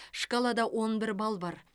шкалада он бір балл бар